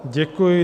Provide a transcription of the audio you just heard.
Děkuji.